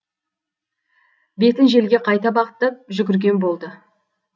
бетін желге қайта бағыттап жүгірген болды